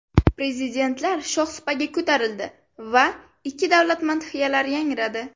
Prezidentlar shohsupaga ko‘tarildi va ikki davlat madhiyalari yangradi.